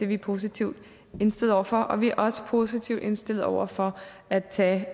vi positivt indstillet over for og vi er også positivt indstillet over for at tage